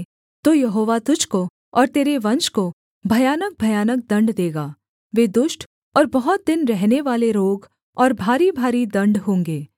तो यहोवा तुझको और तेरे वंश को भयानकभयानक दण्ड देगा वे दुष्ट और बहुत दिन रहनेवाले रोग और भारीभारी दण्ड होंगे